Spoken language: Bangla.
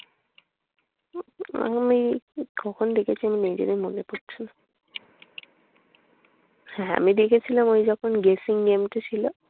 আমি কখন দেখেছি আমি নিজেরই মনে পড়ছে না। হ্যাঁ আমি দেখেছিলাম ওই যখন dressing room টায় ছিলাম।